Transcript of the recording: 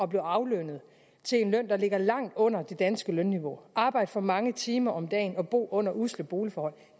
blive aflønnet til en løn der ligger langt under det danske lønniveau arbejde for mange timer om dagen og bo under usle boligforhold